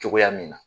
Cogoya min na